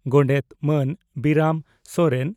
ᱜᱚᱰᱮᱛ ᱢᱟᱱ ᱵᱤᱨᱟᱹᱢ ᱥᱚᱨᱮᱱ